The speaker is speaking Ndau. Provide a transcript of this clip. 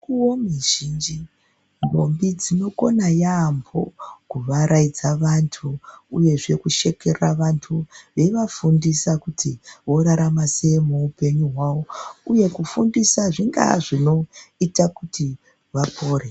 Mukuwo mizhinji ndombi dzonokona yambo kuvaraidza vantu uyezve kushekerera vantu veivafundisa kuti vorarama sei muupenyu hwavo uye kufundisa zvingaa zvinoita kuti vapore.